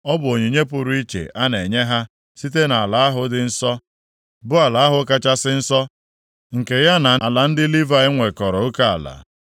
Ọ bụ onyinye pụrụ iche a na-enye ha site nʼala ahụ dị nsọ, bụ ala ahụ kachasị nsọ, nke ya na ala ndị Livayị nwekọrọ oke ala.